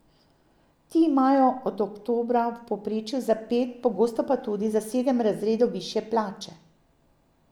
Ti imajo od oktobra v povprečju za pet, pogosto pa tudi za sedem razredov višje plače.